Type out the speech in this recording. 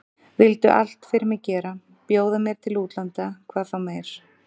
Vildu allt fyrir mig gera, bjóða mér til útlanda hvað þá meir.